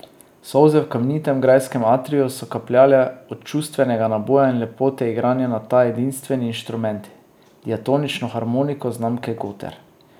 Solze v kamnitem grajskem atriju so kapljale od čustvenega naboja in lepote igranja na ta edinstveni inštrument, diatonično harmoniko znamke Goter.